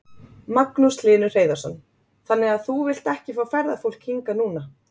Magnús Hlynur Hreiðarsson: Þannig að þú vilt ekki fá ferðafólk hingað núna?